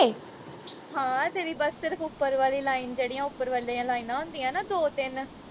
ਹਾਂ ਤੇਰੀ ਬਸ ਸਿਰਫ ਉਪਰ ਵਾਲੀ line ਜਿਹੜੀਆਂ ਉਪਰ ਵਾਲੀਆਂ ਲਾਈਨਾਂ ਹੁੰਦੀਆਂ ਨਾ ਦੋ ਤਿੰਨ